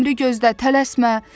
Əmri gözlə, tələsmə.